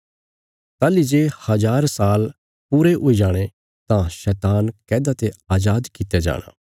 ताहली जे हज़ार साल पूरे हुई जाणे तां शैतान कैदा ते अजाद कित्या जाणा